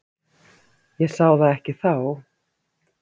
Ég sá það ekki þá.